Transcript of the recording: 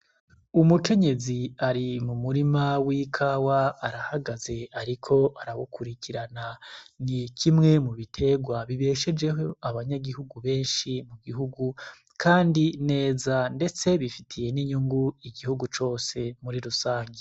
Umukenyezi ari mu murima w'ikawa arahagaze ariko arawukurikirana n'ikimwe mu biterwa bibeshejeho abanyagihugu benshi mu gihugu kandi neza ndetse bifitiye ninyungu igihugu cose muri rusangi